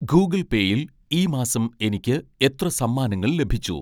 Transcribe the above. ഗൂഗിൾപേയിൽ ഈ മാസം എനിക്ക് എത്ര സമ്മാനങ്ങൾ ലഭിച്ചു